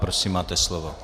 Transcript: Prosím, máte slovo.